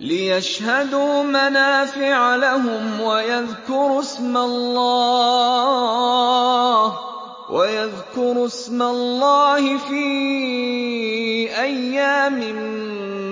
لِّيَشْهَدُوا مَنَافِعَ لَهُمْ وَيَذْكُرُوا اسْمَ اللَّهِ فِي أَيَّامٍ